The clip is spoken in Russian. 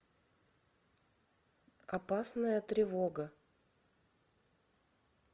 опасная тревога